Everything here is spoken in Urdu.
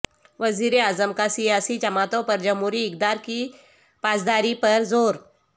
وزیراعظم کاسیاسی جماعتوں پر جمہوری اقدار کی پاسداری پر زور